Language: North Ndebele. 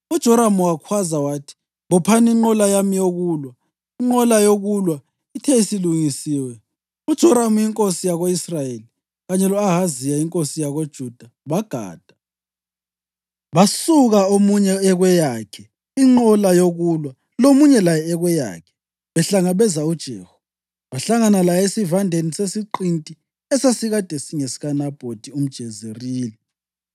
UJoramu wakhwaza wathi, “Bophani inqola yami yokulwa.” Inqola yokulwa ithe isilungisiwe, uJoramu inkosi yako-Israyeli kanye lo-Ahaziya inkosi yakoJuda bagada, basuka omunye ekweyakhe inqola yokulwa lomunye laye ekweyakhe, behlangabeza uJehu. Bahlangana laye esivandeni sesiqinti esasikade singesikaNabhothi umJezerili.